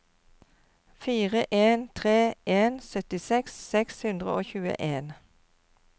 fire en tre en syttiseks seks hundre og tjueen